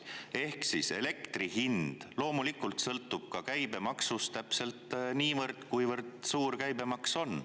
Ehk siis elektri hind loomulikult sõltub ka käibemaksust, täpselt niivõrd, kuivõrd suur käibemaks on.